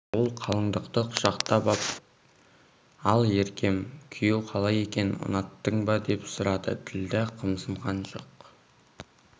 ол қалындықты құшақтап ап ал еркем күйеу қалай екен ұнаттың ба деп сұрады ділдә қымсынған жоқ